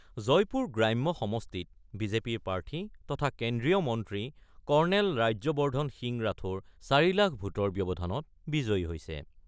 জয়পুৰ গ্ৰাম্য সমষ্টিত বিজেপিৰ প্ৰাৰ্থী তথা কেন্দ্ৰীয় মন্ত্ৰী কৰ্ণেল ৰাজ্যবৰ্ধন সিং ৰাথোড় ৪ লাখ ভোটৰ ব্যৱধানত বিজয়ী হৈছে।